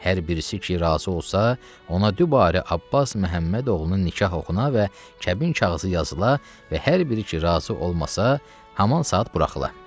Hər birisi ki razı olsa, ona dübarə Abbas Məhəmməd oğlunun nikah oxuna və kəbin kağızı yazıla və hər biri ki razı olmasa, haman saat buraxıla.